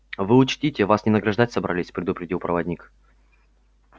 вы учтите вас не награждать собрались предупредил проводник